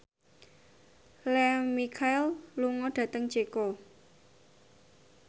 Lea Michele lunga dhateng Ceko